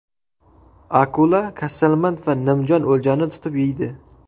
Akula kasalmand va nimjon o‘ljani tutib yeydi.